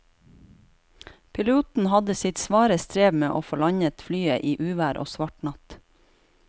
Piloten hadde sitt svare strev med å få landet flyet i uvær og svart natt.